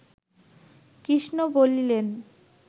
কৃষ্ণ বলিলেন